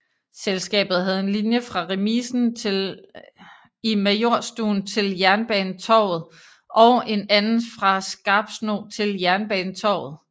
Selskabet havde en linje fra remisen i Majorstuen til Jernbanetorget og en anden fra Skarpsno til Jernbanetorget